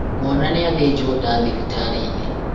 mwana nĩathĩnjũo nda thibtarĩinĩ